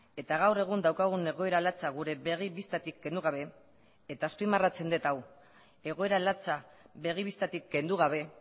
eta gaur egun daukagun egoera latza gure begi bistatik kendu gabe eta azpimarratzen dut hau egoera latza begi bistatik kendu gabe